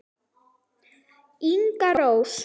Inga Rós.